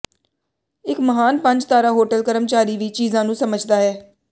ਇੱਕ ਮਹਾਨ ਪੰਜ ਤਾਰਾ ਹੋਟਲ ਕਰਮਚਾਰੀ ਵੀ ਚੀਜ਼ਾਂ ਨੂੰ ਸਮਝਦਾ ਹੈ